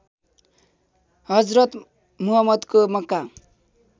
हजरत मुहम्मदको मक्का